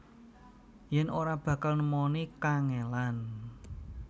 Yen ora bakal nemoni kangelan